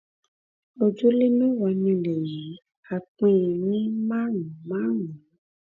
ojúlé mẹ́wàá nilẹ̀ yìí á pín in ní márùn-ún márùn-ún